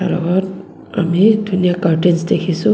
লগত আমি ধুনীয়া কাৰতেইঞ্চ দেখিছোঁ.